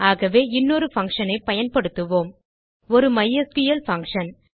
ஆகவே இன்னொரு பங்ஷன் ஐ பயன்படுத்துவோம் ஒரு மைஸ்கிள் பங்ஷன்